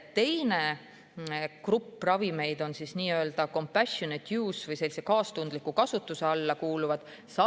Teine grupp ravimeid on nii-öelda compassionate-use-ravimid ehk kaastundliku kasutuse alla kuuluvad ravimid.